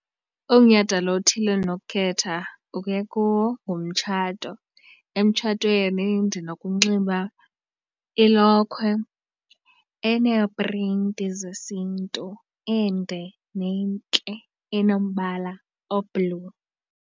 Umnyhadala othile endinokukhetha ukuya kuwo ngumtshato. Emtshatweni ndinokunxiba ilokhwe eneeprinti zesiNtu ende nentle enombala o-blue.